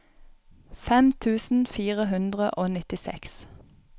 fem tusen fire hundre og nittiseks